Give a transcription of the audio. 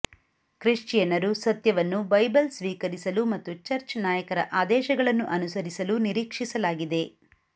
ಕ್ರಿಶ್ಚಿಯನ್ನರು ಸತ್ಯವನ್ನು ಬೈಬಲ್ ಸ್ವೀಕರಿಸಲು ಮತ್ತು ಚರ್ಚ್ ನಾಯಕರ ಆದೇಶಗಳನ್ನು ಅನುಸರಿಸಲು ನಿರೀಕ್ಷಿಸಲಾಗಿದೆ